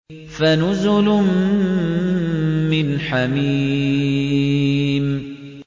فَنُزُلٌ مِّنْ حَمِيمٍ